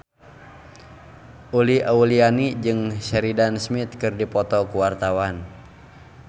Uli Auliani jeung Sheridan Smith keur dipoto ku wartawan